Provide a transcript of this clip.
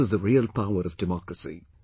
This is the real power of democracy